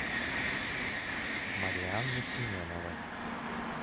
марианны семеновой